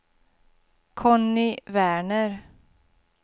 Conny Werner